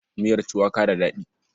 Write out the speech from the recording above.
Miyar cuwaka da daɗi.